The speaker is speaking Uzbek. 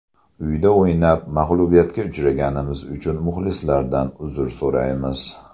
Uyda o‘ynab, mag‘lubiyatga uchraganimiz uchun muxlislardan uzr so‘raymiz.